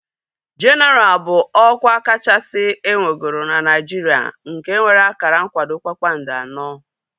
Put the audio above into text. Jenaral bụ ọkwa kachasị enwegoro na Naijiria nke nwere akara nkwado kpakpando anọ